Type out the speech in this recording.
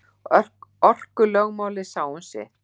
Orkulögmálið sá um sitt.